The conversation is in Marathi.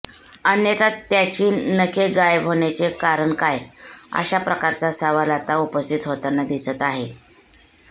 अन्यथा त्याची नखे गायब होण्याचे कारण काय अशाप्रकारचा सवाल आता उपस्थित होताना दिसत आहे